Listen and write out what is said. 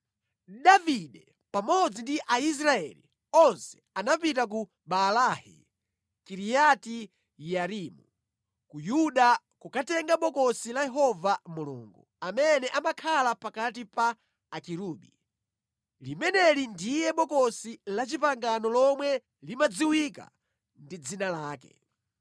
Davide pamodzi ndi Aisraeli onse anapita ku Baalahi (Kiriati-Yearimu) ku Yuda kukatenga Bokosi la Yehova Mulungu, amene amakhala pakati pa akerubi. Limeneli ndiye Bokosi la Chipangano lomwe limadziwika ndi Dzina lake.